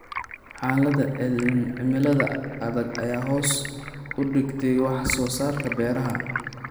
Xaaladaha cimilada adag ayaa hoos u dhigay wax soo saarka beeraha.